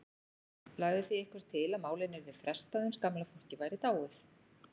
Lagði því einhver til að málinu yrði frestað uns gamla fólkið væri dáið.